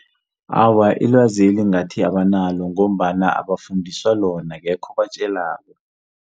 Awa ilwazeli ngathi abanalo ngombana abafundiswa lona akekho obatjelako.